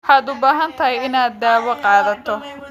Waxaad u baahan tahay inaad daawo qaadato.